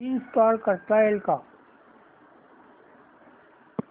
install करता येईल का